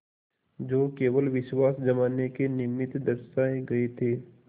जो केवल विश्वास जमाने के निमित्त दर्शाये गये थे